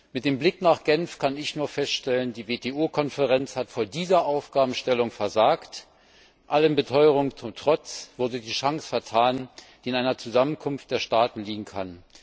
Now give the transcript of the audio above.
Mit dem Blick nach Genf kann ich nur feststellen, dass die WTO Konferenz vor dieser Aufgabenstellung versagt hat. Allen Beteuerungen zum Trotz wurde die Chance vertan, die in einer Zusammenkunft der Staaten liegen kann.